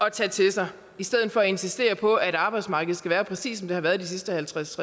at tage til sig i stedet for at insistere på at arbejdsmarkedet skal være præcis som det har været de sidste halvtreds